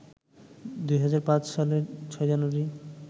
২০০৫ সালের ৬ জানুয়ারি